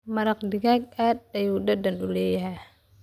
maraq digaag aad ayuu dadan uu leeyahy.